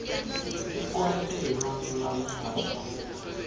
ikwaito yebantfu labasha